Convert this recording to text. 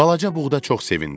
Balaca buğda çox sevindi.